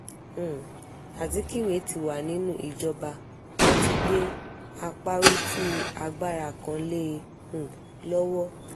um azikiwe ti wà nínú ìjọba wọn ti gbé àparùtù agbára kan lé e um lọ́wọ́